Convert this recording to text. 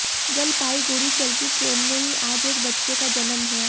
जलपाईगुड़ीः चलती ट्रेन में ही आज एक बच्चे का जन्म हुआ